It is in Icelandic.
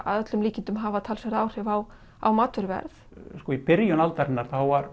að öllum líkindum hafa talsverð áhrif á á matvöruverð sko í byrjun aldarinnar